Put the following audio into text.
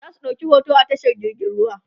zasu ɗauki hoto a tashar jirgin ruwa